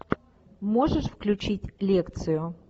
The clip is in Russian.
можешь включить лекцию